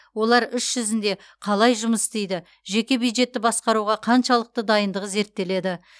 олар іс жүзінде қалай жұмыс істейді жеке бюджетті басқаруға қаншалықты дайындығы зерттеледі